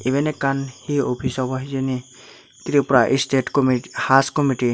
eben ekan he opice obo hejini tripura state haas committee.